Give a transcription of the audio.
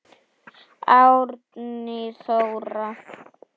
Árný Þóra.